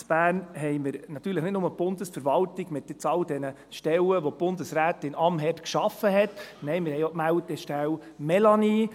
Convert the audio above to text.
In Bern haben wir natürlich nicht nur die Bundesverwaltung mit all den Stellen, die Bundesrätin Amherd geschaffen hat, nein, wir haben auch die Melde- und Analysestelle Informationssicherung (Melani).